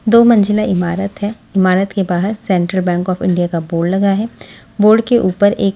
दो मंजिला इमारत है इमारत के बाहर सेंट्रल बैंक ऑफ इंडिया का बोर्ड लगा है बोर्ड के ऊपर एक --